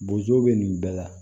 Bozo be nin bɛɛ la